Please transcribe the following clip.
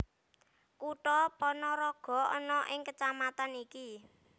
Kutha Panaraga ana ing kecamatan iki